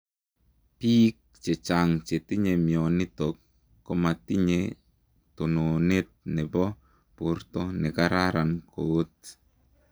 Piik chechang chetinye mionitook komatinyee tononet neboo portoo nekararan koot.